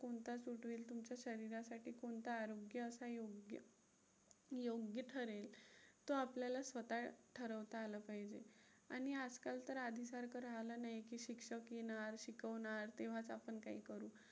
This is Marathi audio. कोणता आरोग्यास अयोग्य योग्य ठरेल, तो आपल्याला स्वतः ठरवता आलं पाहिजे. आणि आजकाल तर आधीसारखं राहिलं नाही. की शिक्षक येणार, शिकवणार तेव्हाच आपण काही करू.